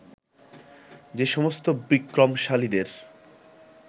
সে সমস্ত বিক্রমশালীদের